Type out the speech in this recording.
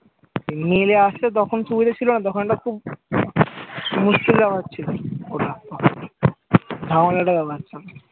নিয়ে আসতে তখন সুবিধে ছিল না ওখানটা খুব মুশকিল ব্যাপার ছিল খোলা ধারণাটা ব্যাপারটা।